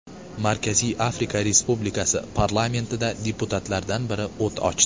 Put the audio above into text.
Markaziy Afrika Respublikasi parlamentida deputatlardan biri o‘t ochdi.